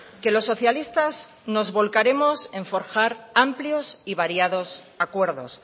que los socialistas nos volcaremos en forjar amplios y variados acuerdos